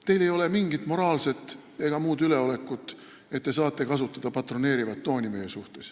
Teil ei ole mingit moraalset ega muud üleolekut, et te võiksite kasutada meiega suheldes patroneerivat tooni.